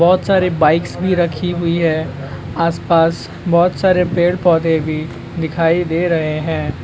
बहुत सारी बाइक्स भी रखी हुई है आसपास बहुत सारे पेड़ पौधे भी दिखाई दे रहे हैं।